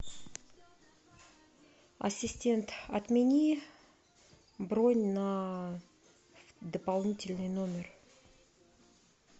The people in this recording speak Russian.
ассистент отмени бронь на дополнительный номер